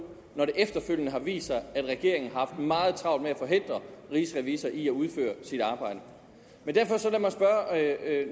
når det efterfølgende har vist sig at regeringen har haft meget travlt med at forhindre rigsrevisor i at udføre sit arbejde men